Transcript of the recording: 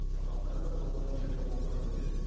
сабақтарымыз онлайн және офлайн өтеді